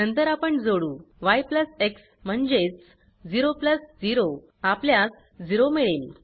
नंतर आपण जोडू य प्लस एक्स म्हणजेच 0 प्लस 0 आपल्यास 0 मिळेल